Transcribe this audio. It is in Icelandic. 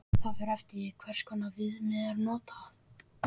Það fer eftir því hvers konar viðmið er notað.